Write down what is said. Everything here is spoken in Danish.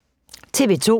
TV 2